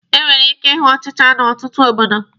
E nwere ike ịhụ ọchịcha n'ọtụtụ obodo.